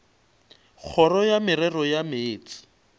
kgoro ya merero ya meetse